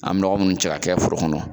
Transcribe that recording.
An bɛ nɔgɔ minnu cɛ ka kɛ foro kɔnɔ